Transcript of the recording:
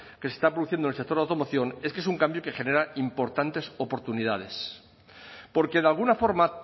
que se está produciendo en el sector de la automoción es que es un cambio que genera importantes oportunidades porque de alguna forma